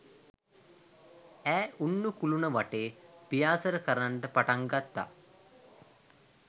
ඈ උන්නු කුළුණ වටේ පියාසර කරන්ට පටන් ගත්තා.